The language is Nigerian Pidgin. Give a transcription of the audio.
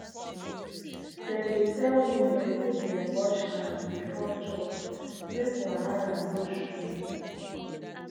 dem dey tell women make dem wash hand before chop make wahala no show.